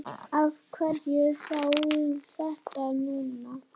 Af hverju þá þetta núna?